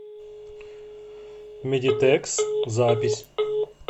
медитекс запись